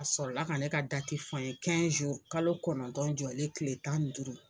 A sɔrɔla ka ne ka dati fɔ n ye kalo kɔnɔntɔn jɔlen tile tan duuru